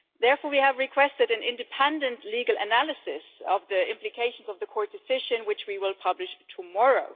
Therefore, we have requested an independent legal analysis of the implications of the court decision, which we will publish tomorrow.